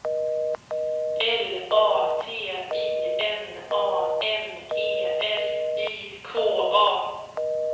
L A T I N A M E R I K A